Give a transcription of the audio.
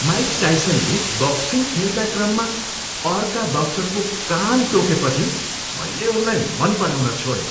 Mic टाइसनले boxing खेलका क्रममा अर्का बक्सरको कान टोकेपछि मैले उनलाई मन पराउन छोडेँ।